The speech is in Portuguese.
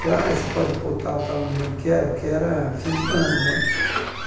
Falei, você pode pôr tal, tal, não me lembro o que era, porque era fim de ano né.